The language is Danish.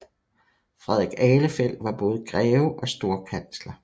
Frederik Ahlefeldt var både greve og storkansler